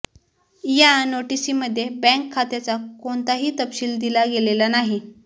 या नोटीसीमध्ये बॅंक खात्याचा कोणताही तपशील दिला गेलेला नाही